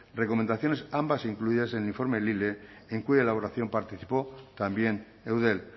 recomendaciones ambas incluidas en el informe lile en cuya elaboración participó también eudel